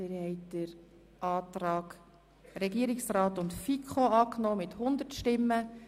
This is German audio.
Sie haben den Antrag von Regierungsrat und FiKo angenommen.